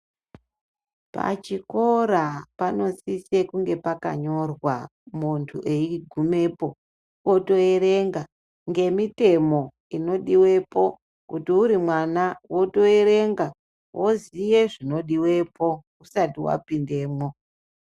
Pachikora panosise kunge pakanyorwa muntu eigumepo otoerenga ngemitemo i odiwepo kuti uri mwana wotoerenga woziye zvinodiwepo usati wapindemwo.